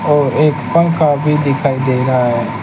और एक पंखा भी दिखाई दे रहा हैं।